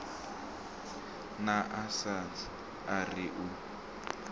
na asnath a ri u